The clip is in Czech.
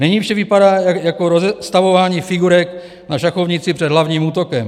Nyní vše vypadá jako rozestavování figurek na šachovnici před hlavním útokem.